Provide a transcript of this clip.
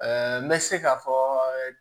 n bɛ se k'a fɔ